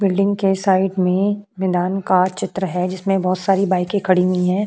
building के side में मैंदान का चित्र है जिसमें बहौत सारी बाइकें